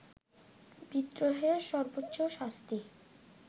বিদ্রোহের সর্বোচ্চ শাস্তি